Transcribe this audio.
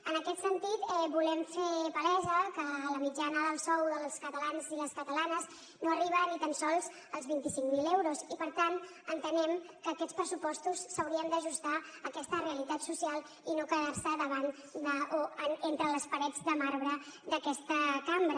en aquest sentit volem fer palesa que la mitjana del sou dels catalans i les catalanes no arriba ni tan sols als vint i cinc mil euros i per tant entenem que aquests pressupostos s’haurien d’ajustar a aquesta realitat social i no quedar se davant o entre les parets de marbre d’aquesta cambra